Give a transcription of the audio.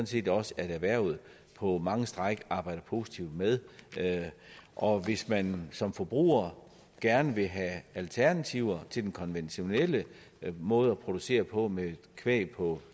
set også at erhvervet på mange strækninger arbejder positivt med og hvis man som forbruger gerne vil have alternativer til den konventionelle måde at producere på med kvæg på